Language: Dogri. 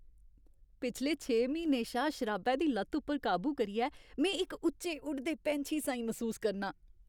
पिछले छे म्हीनें शा शराबै दी लत्त उप्पर काबू करियै में इक उच्चे उड़दे पैंछी साहीं मसूस करनां।